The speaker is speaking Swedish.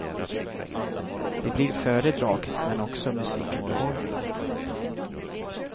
Det blir föredrag, men också musikunderhållning.